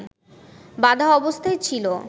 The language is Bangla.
বাঁধা অবস্থায় ছিল